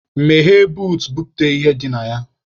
Meghee buut, bupute ihe dị na ya!